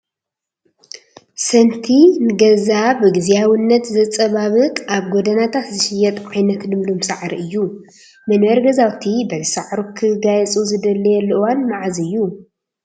ሰንቲ ንገዛ ብግዚያዊነት ዘፀባብቕ ኣብ ጎደናታት ዝሽየጥ ዓይነት ልምሉም ሳዕሪ እዩ፡፡ መንበሪ ገዛውቲ በዚ ሳዕሩ ክጋየፁ ዝድለየሉ እዋን መዓዝ እዩ?